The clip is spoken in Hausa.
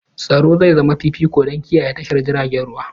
Tsaro zai zama fifiko don kiyaye tashar jiragen ruwa.